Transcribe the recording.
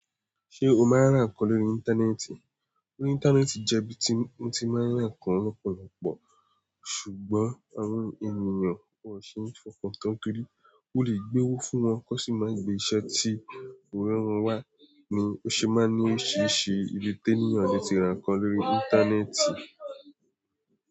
Ṣé o máa ń rà nǹkan lórí Íńtánẹ́ẹ̀tì? Orí Íńtánẹ́ẹ̀tì jẹ́ ibi tí mọ́ ti máa ń rà nǹkan lọ́pọ̀lọpọ̀, ṣùgbọ́n àwọn ènìyàn wò n ṣe é fọkàntán kiri mó lè gbé owó fún wọn kó n sì máa gbé iṣẹ́ tí Òòrè wọ́n wá ni ó ṣe máa ń ní oriṣíriṣí ilé tailor lo ti rà nǹkan lórí Íńtánẹ́ẹ̀tì.